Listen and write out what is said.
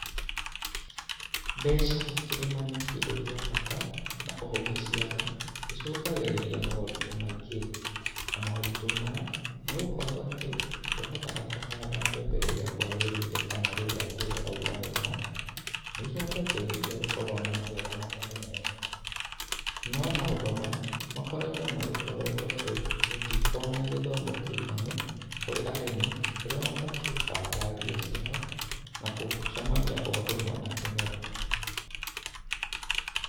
Mbeca ũkĩrĩma nĩ kĩndũ gĩa bata, na ũngĩciaga, cicũngagĩrĩria moritũ maingĩ. Na moitũ maya nĩ gũkorwo atĩ, ndũhotaga kũhanda mbembe rĩrĩa kwagĩrĩire, kana rĩrĩa mbura ĩraura wega, gũcungagĩrĩria gũkorwo na magetha matarĩ mega. No maũndũ maya, makoretwo magĩkorwo nĩ tondũ gũtikoretwo na gĩthomo kĩiganu, ũrĩa mabatiĩ gũbanga mbia ciao, na gũcemania o ũndũ ũmwe na kĩmera.